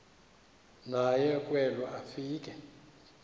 naye kwelo afika